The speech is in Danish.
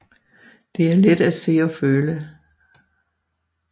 Det er let at se og føle